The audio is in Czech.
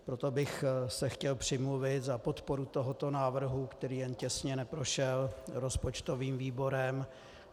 Proto bych se chtěl přimluvit za podporu tohoto návrhu, který jen těsně neprošel rozpočtovým výborem.